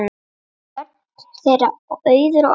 Börn þeirra: Auður og Oddur.